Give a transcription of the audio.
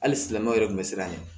Hali silamɛw yɛrɛ tun bɛ siran ɲɛ